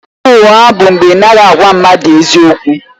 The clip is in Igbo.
Ịgha ụgha bụ mgbe ị anaghị agwa mmadụ eziokwu.